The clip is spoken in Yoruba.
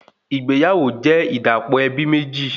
Ìgbéyàwó jẹ́ ìdàpọ̀ ẹbí méjì